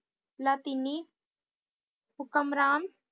ਲਾਤੀਨੀ ਹੁਕਮਰਾਨ